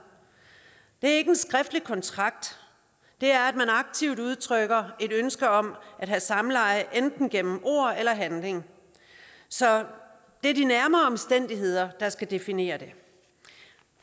det er ikke en skriftlig kontrakt det er at man aktivt udtrykker et ønske om at have samleje enten gennem ord eller handling så det er de nærmere omstændigheder der skal definere det